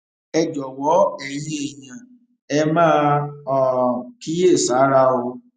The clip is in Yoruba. ẹ jọwọ ẹyin èèyàn ẹ máa um kíyèsára o